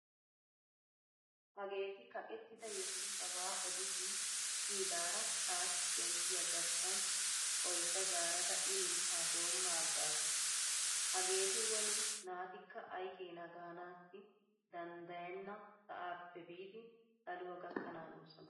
Hageeti kaqettida yesuusaba odishin siyidaara taassi shemppiya garssan oydda zaarada ililttaa doomma aggaasu. Hageeti woni naatikka aykeena gaanaassi danddayane sa'aappe biidi saluwa gakkanaanoosona.